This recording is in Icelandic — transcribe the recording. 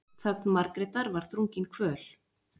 Þögn Margrétar var þrungin kvöl.